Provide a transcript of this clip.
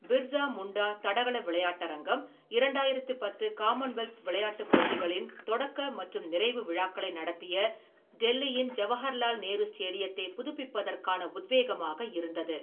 பிர்சா முண்டா தடகள விளையாட்டரங்கம் இரண்டாயிரம் பத்து காமன்வெல்த் விளையாட்டுப் போட்டிகளின் தொடக்க மற்றும் நிறைவு விழாக்களை நடத்திய டெல்லியின் ஜவஹர்லால் நேரு ஸ்டேடியத்தை புதுப்பிப்பதற்கான உத்வேகமாக இருந்தது.